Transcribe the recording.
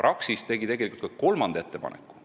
Praxis tegi tegelikult veel ühe ettepaneku.